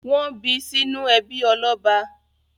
Wọ́n bí sínú ẹbí ọlọ́ba?